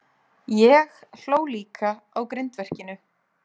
Ég hló líka á grindverkinu.